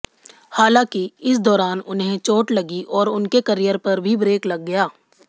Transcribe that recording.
हालांकि इस दौरान उन्हें चोट लगी और उनके करियर पर भी ब्रेक लग गया